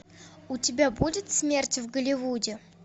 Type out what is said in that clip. у тебя будет смерть в голливуде